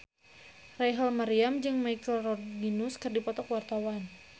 Rachel Maryam jeung Michelle Rodriguez keur dipoto ku wartawan